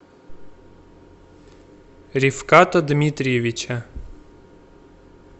рифката дмитриевича